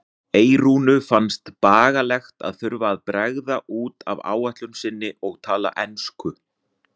Eyrúnu fannst bagalegt að þurfa að bregða út af áætlun sinni og tala ensku.